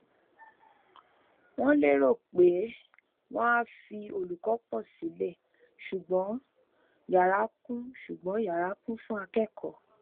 wọn lérò pé wọn á fi olùkọ pọ sílẹ ṣùgbọn yara kún ṣùgbọn yara kún fún akẹkọọ